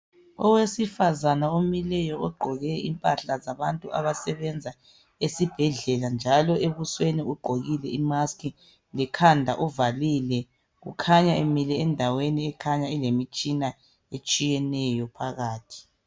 Owesifazana omileyo ogqoke impahla zabantu abasebenza esibhedlela njalo ebusweni ugqokile imask, lekhanda uvalile. Ukhanya emile endaweni ekhanya ilemitshina etshiyeneyo phakathi.